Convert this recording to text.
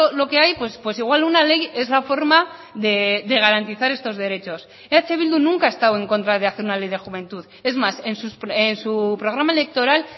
lo que hay pues igual una ley es la forma de garantizar estos derechos eh bildu nunca ha estado en contra de hacer una ley de juventud es más en su programa electoral